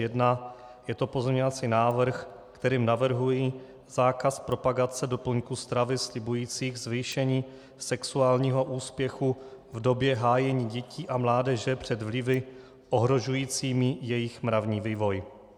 Je to pozměňovací návrh, kterým navrhuji zákaz propagace doplňků stravy slibujících zvýšení sexuálního úspěchu v době hájení dětí a mládeže před vlivy ohrožujícími jejich mravní vývoj.